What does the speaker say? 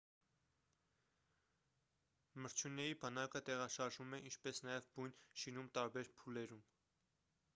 մրջյունների բանակը տեղաշարժվում է ինչպես նաև բույն շինում տարբեր փուլերում